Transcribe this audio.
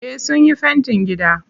Eh sunyi fentin gida.